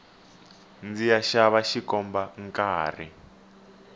ndziya xava xikomba nkarhi